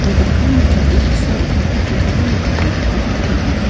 ia dokanni tebil ge·sao computer-koba nikatna gita man·a.